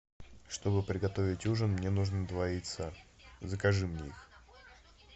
чтобы приготовить ужин мне нужно два яйца закажи мне их